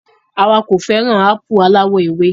Àwa kò fẹràn ápù aláwọ̀ ewé.